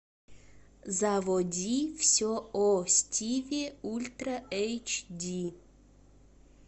заводи все о стиве ультра эйч ди